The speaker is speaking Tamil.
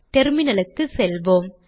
டெர்மினல் க்குச் செல்வோம்